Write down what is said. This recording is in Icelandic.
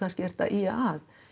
ert að ýja að